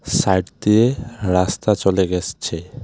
Side দিয়ে রাস্তা চলে গেসছে ।